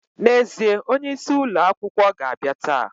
Na ezie, onye isi ulo akwukwo ga abia taa.